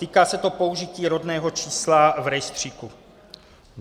Týká se to použití rodného čísla v rejstříku.